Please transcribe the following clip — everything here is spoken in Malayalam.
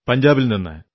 പഞ്ചാബിൽ നിന്ന്